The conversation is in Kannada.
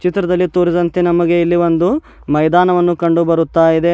ಚಿತ್ರದಲ್ಲಿ ತೋರಿದಂತೆ ನಮಗೆ ಇಲ್ಲಿ ಒಂದು ಮೈದಾನವನ್ನು ಕಂಡು ಬರುತ್ತಾ ಇದೆ.